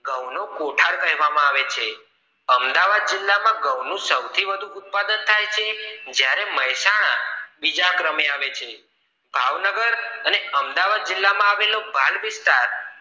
ઘઉ નો કોથળ કેહવવામાં આવે છે અમદવાદ માં ઘઉ નું સૌથી વધુ ઉત્પાદન થાય છે જ્યારે મહેસાણા બીજા ક્રમે આવે છે ભાવનગર અને અમદાવાદ જિલ્લા માં આવેલો વિસ્તાર